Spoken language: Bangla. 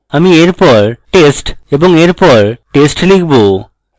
আমি এরপর test এবং এরপর test লিখব